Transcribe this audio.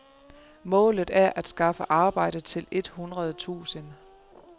Målet er at skaffe arbejde til et hundrede tusind.